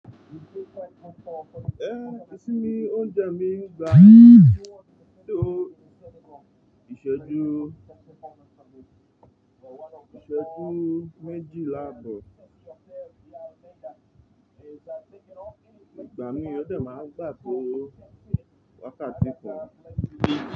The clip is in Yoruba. Ẹ́, ìsinmi oúnjẹ mi gbà tó ìṣẹ́jú, ìṣẹ́jú méjìlá abọ̀. Ìgbà mí ó dè máa gbà tó wákàtí kan.